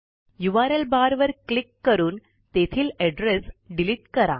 URL barवर click करून तेथील एड्रेस डिलिट करा